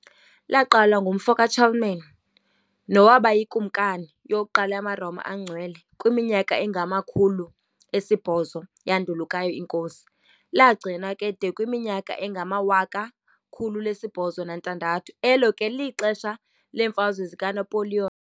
Laqalwa ngumfo ka-Charlemagne nowaba yiKumkani yokuqala yamaRoma aNgcwele kwiminyaka engama-800 yandulukayo iNkosi, lagcinwa ke de kwayiminyaka engama-1806, elo ke lixesha leeMfazwe zikaNapoliyoni.